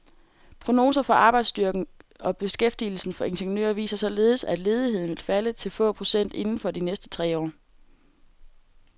Prognoser for arbejdsstyrken og beskæftigelsen for ingeniører viser således, at ledigheden vil falde til få procent inden for de næste tre år.